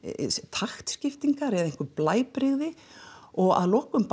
taktskiptingar eða blæbrigði og að lokum